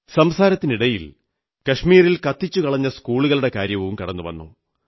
സംസാരത്തിനിടയിൽ കശ്മീരിൽ കത്തിച്ചുകളഞ്ഞ സ്കൂളുകളുടെ കാര്യവും കടന്നുവന്നു